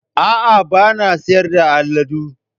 A'a, ba na sayar da aladu